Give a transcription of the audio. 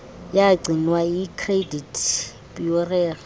yagcinwa yicredit bureau